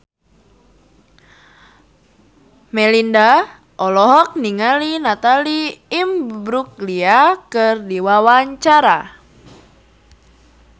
Melinda olohok ningali Natalie Imbruglia keur diwawancara